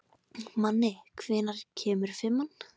Manni, hvenær kemur fimman?